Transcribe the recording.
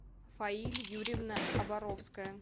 фаиль юрьевна оборовская